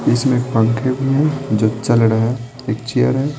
इसमें पंखे भी हैं जो चल रहे एक चेयर है।